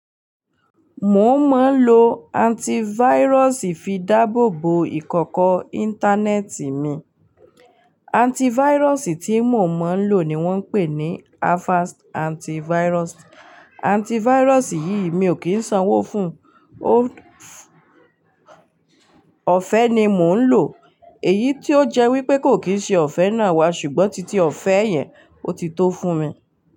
Mo mọ̀ ń lo antivirus fi dáàbòbo ìkọ̀kọ̀ internet mi. Antivirus tí mo mọ̀ ń lò ni wọ́n ń pè ní Avast Antivirus. Antivirus yìí mi ò kí ń sanwó fún un, ọ̀fẹ́ ni mò ń lò. Èyí tó jẹ́ wípé kò kì í ṣe ọ̀fẹ́ náà wá ṣùgbọ́n titi ọ̀fẹ́ yẹn ó ti tó fún mi.